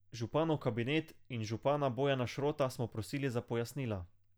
Županov kabinet in župana Bojana Šrota smo prosili za pojasnila.